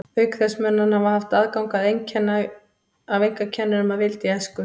Auk þess mun hann hafa haft aðgang að einkakennurum að vild í æsku.